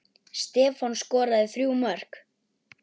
Stefán skoraði þrjú mörk.